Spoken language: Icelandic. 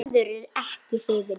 Gerður er ekki hrifin.